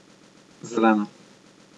Zelena.